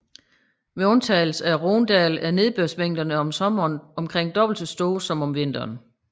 Med undtagelse af Rhônedalen er nedbørsmængderne om sommeren omkring dobbelt så store som om vinteren